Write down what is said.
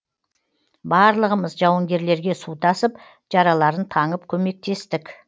барлығымыз жауынгерлерге су тасып жараларын таңып көмектестік